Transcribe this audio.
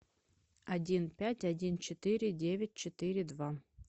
один пять один четыре девять четыре два